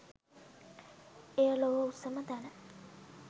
එය ලොව උසම තැන